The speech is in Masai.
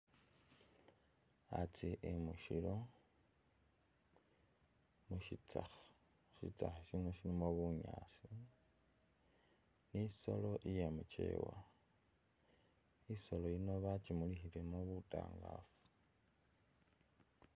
Atse emu shilo mushitsakha ,shitsakha shino shilimo bunyasi nisholo iye’mukyewa ,isolo yino bakyimulikhilemo butangafu.